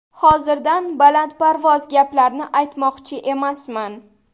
Hozirdan balandparvoz gaplarni aytmoqchi emasman.